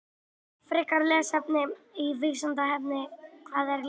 Frekara lesefni á Vísindavefnum: Hvað er ljóð?